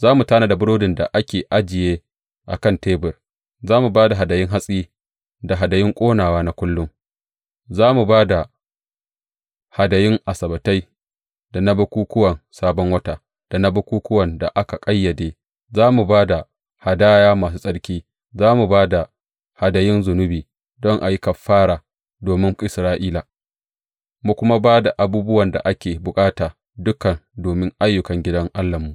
Za mu tanada burodin da ake ajiye a kan tebur; za mu ba da hadayun hatsi da hadayun ƙonawa na kullum; za mu ba da hadayun Asabbatai, da na bukukkuwan Sabon Wata da na bukukkuwan da aka ƙayyade; za mu ba da hadayu masu tsarki; za mu ba da hadayun zunubi don a yi kafara domin Isra’ila; mu kuma ba da abubuwan da ake bukata dukan domin ayyukan gidan Allahnmu.